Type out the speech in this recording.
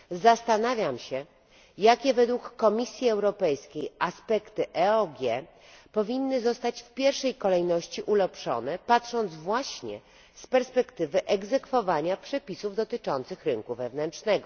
Zastanawiam się, jakie, według Komisji Europejskiej, aspekty EOG powinny zostać w pierwszej kolejności usprawnione, patrząc właśnie z perspektywy egzekwowania przepisów dotyczących rynku wewnętrznego.